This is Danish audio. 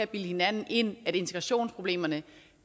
bilde hinanden ind at integrationsproblemerne